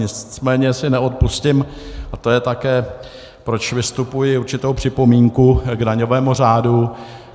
Nicméně si neodpustím, a to je také, proč vystupuji, určitou připomínku k daňovému řádu.